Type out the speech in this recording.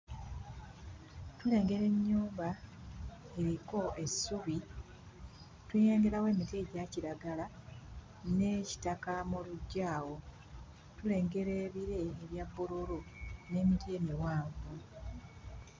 Tulengera ennyumba eriko essubi, tulengerawo emiti egya kiragala ne kitaka mu luggya awo. Tulengera ebire ebya bbululu n'emiti emiwanvu.